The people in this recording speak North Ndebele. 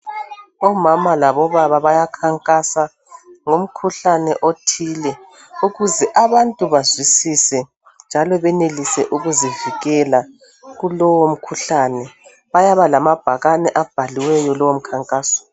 Omama labobaba bayakhankasa ngomkhuhlane othile ukuze abantu bazwisise njalo benelise ukuzivikela kulo umkhuhlane bayaba lamabhakane abhaliweyo lowomkhankaso.